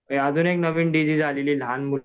अजून एक नवीन डिसीज आलेली आहे लहान